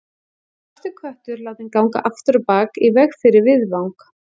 Svartur köttur látinn ganga afturábak í veg fyrir viðfang.